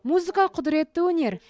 музыка құдіретті өнер